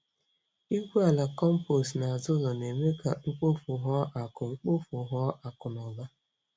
Igwu ala compost n'azụ ụlọ na-eme ka mkpofu ghọọ akụ mkpofu ghọọ akụ na ụba.